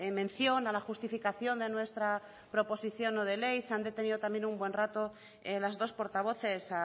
mención a la justificación de nuestra proposición no de ley se han detenido también un buen rato las dos portavoces